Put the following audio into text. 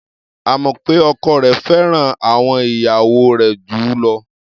A mọ̀ pé ọkọ rẹ̀ fẹ́ràn àwọn ìyàwó rẹ̀ jù ú lọ.